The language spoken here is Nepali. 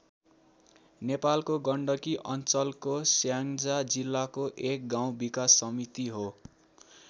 नेपालको गण्डकी अञ्चलको स्याङ्जा जिल्लाको एक गाउँ विकास समिति हो।